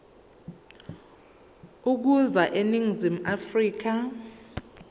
ukuza eningizimu afrika